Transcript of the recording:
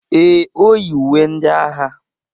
Ee, o yi uwe ndị agha.